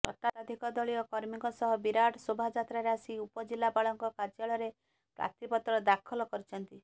ଶତାଧିକ ଦଳୀୟ କର୍ମୀଙ୍କ ସହ ବିରାଟ ଶୋଭାଯାତ୍ରାରେ ଆସି ଉପଜିଲ୍ଲାପାଳଙ୍କ କାର୍ଯ୍ୟାଳୟରେ ପ୍ରାର୍ଥୀପତ୍ର ଦାଖଲ କରିଛନ୍ତି